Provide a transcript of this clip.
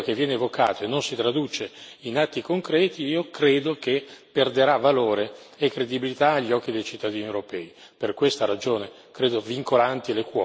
Allora, se questo tema resta un tema che viene evocato e non si traduce in atti concreti, io credo che perderà valore e credibilità agli occhi dei cittadini europei.